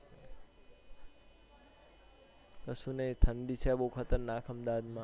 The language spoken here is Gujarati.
કશું નઈ ઠંડી છે બો ખતરનાક અહમદાબાદ માં